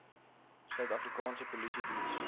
suid afrikaanse polisiediens